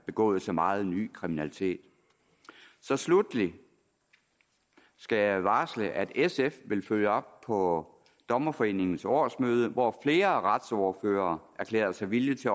begået så meget ny kriminalitet så sluttelig skal jeg varsle at sf vil følge op på dommerforeningens årsmøde hvor flere retsordførere erklærede sig villige til